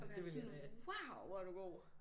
Og være sådan wow hvor er du god!